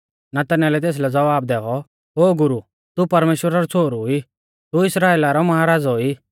नतनएलै तेसलै ज़वाब दैऔ ओ गुरु तू परमेश्‍वरा रौ छ़ोहरु ई तू इस्राइला रौ महाराज़ौ ई